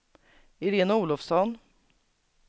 Iréne Olofsson